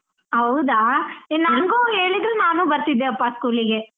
ಹೌದಾ ಏ ನಂಗೂ ಹೇಳಿದ್ರೆ ನಾನೂ ಬರ್ತಿದ್ದೆಪ್ಪ school ಗೆ.